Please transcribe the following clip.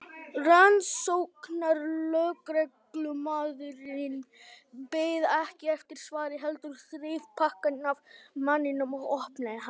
Rannsóknarlögreglumaðurinn beið ekki eftir svari heldur þreif pakkann af manninum og opnaði hann.